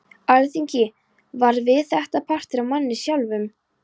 Alþingi varð við þetta partur af manni sjálfum.